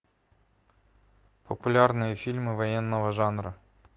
популярные фильмы военного жанра